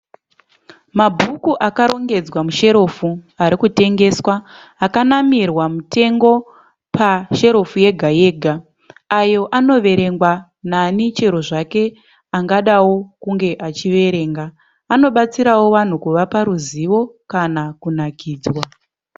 Mabhuku akarongedzwa musherefu arikutengeswa akanamirwa mitengo pasherefu yega-yega. Ayo anoverengwa nani chero zvake angadawo kunge achida kuverenga. Anobatsirawo vanhu kuvapa ruzivo kana kunakidzwa.